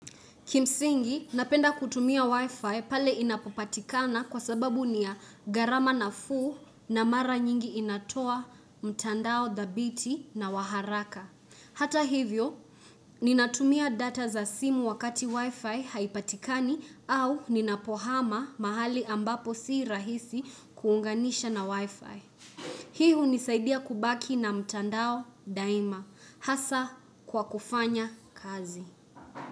Kimsingi, napenda kutumia wi-fi pale inapopatikana kwa sababu niya garama na fuu na mara nyingi inatoa mtandao dhabiti na waharaka. Hata hivyo, ninatumia data za simu wakati wi-fi haipatikani au ninapohama mahali ambapo si rahisi kuunganisha na wi-fi. Hiu nisaidia kubaki na mtandao daima. Hasa kwa kufanya kazi.